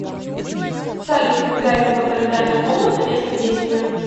салют гарри поттер и тайная комната место действия